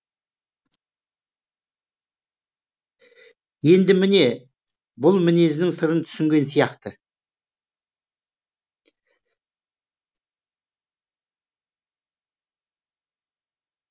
енді міне бұл мінезінің сырын түсінген сияқты